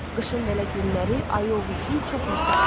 Qışın belə günləri ayı ovu üçün çox müsait olur.